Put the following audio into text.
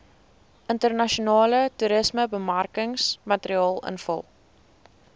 internasionale toerismebemarkingsmateriaal invul